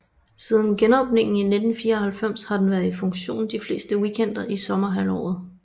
Siden genåbningen i 1994 har den været i funktion de fleste weekender i sommerhalvåret